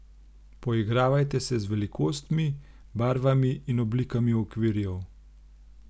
Poigravajte se z velikostmi, barvami in oblikami okvirjev.